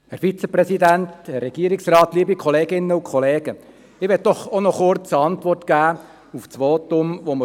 Ich möchte kurz eine Antwort auf das SVP-Votum geben.